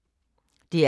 DR P3